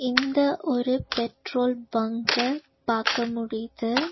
இந்த ஒரு petrol bunk பாக்க முடிது.